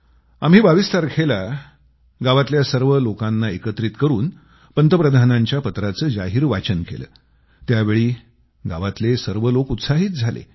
आम्ही 22 तारखेला गावातल्या सर्व लोकांना एकत्रित करून पंतप्रधानांच्या पत्राचं जाहीर वाचन केलं त्यावेळी गावातले सर्व लोक उत्साहित झाले